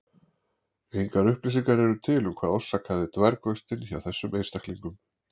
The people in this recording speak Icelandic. Engar upplýsingar eru til um hvað orsakaði dvergvöxtinn hjá þessum einstaklingum.